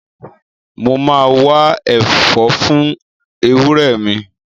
Mo ma wá ẹ̀fọ́ fún ewúrẹ́ mi